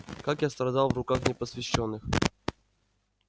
как я страдал в руках непосвящённых